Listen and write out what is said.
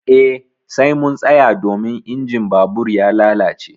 Eh sai mun tsaya domin injin babur ya lalace.